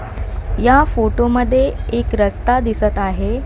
या फोटो मध्ये एक रस्ता दिसत आहे.